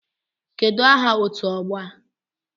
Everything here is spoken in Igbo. Kedụ aha otu ọgbọ a?